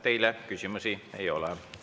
Teile küsimusi ei ole.